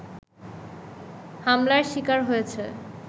হামলার শিকার হয়েছে